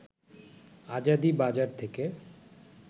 আজাদী বাজার থেকে